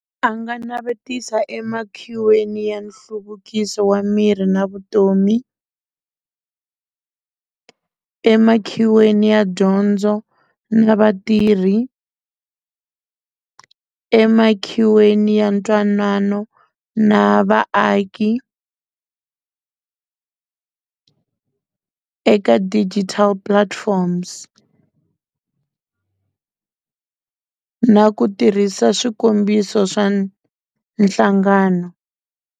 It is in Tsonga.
A nga navetisa emakhiweni ya nhluvukiso wa miri na vutomi emakhiweni ya dyondzo na vatirhi emakhiweni ya ntwanano na vaaki eka digital platforms na ku tirhisa swikombiso swa nhlangano.